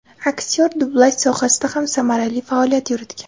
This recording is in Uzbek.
Aktyor dublyaj sohasida ham samarali faoliyat yuritgan.